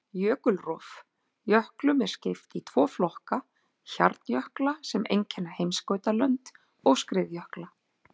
Jökulrof: Jöklum er skipt í tvo flokka, hjarnjökla sem einkenna heimskautalönd, og skriðjökla.